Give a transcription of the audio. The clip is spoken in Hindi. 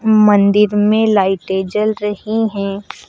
मंदिर में लाइटे जल रही हैं।